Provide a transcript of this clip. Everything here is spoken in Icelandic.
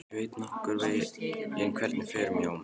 Ég veit nokkurn veginn hvernig fer um Jón.